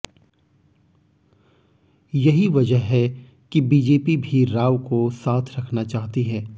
यही वजह है कि बीजेपी भी राव को साथ रखना चाहती है